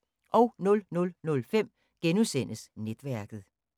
00:05: Netværket *